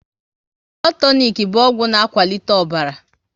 Blood tonik bụ ọgwụ na akwalite ọbara